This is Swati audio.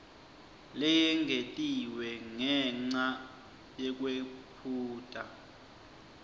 leyengetiwe ngenca yekwephuta